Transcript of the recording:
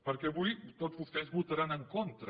perquè avui tots vostès hi votaran en contra